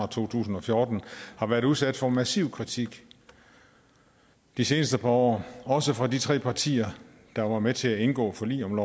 to tusind og fjorten har været udsat for massiv kritik de seneste par år også fra de tre partier der var med til at indgå forlig om